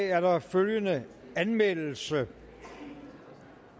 er der følgende anmeldelse